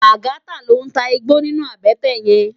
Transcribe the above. Lagata ló n tá igbó ninú àbètè yèn